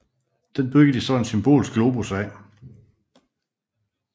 Den byggede de så den Symbolske Globus af